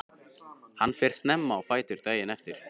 Hann fer snemma á fætur daginn eftir.